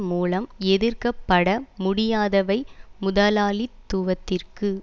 மூலம் எதிர்க்க பட முடியாதவை முதலாளித்துவத்திற்கு